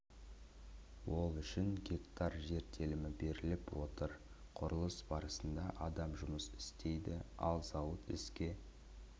ол үшін гектар жер телімі беріліп отыр құрылыс барысында адам жұмыс істейді ал зауыт іске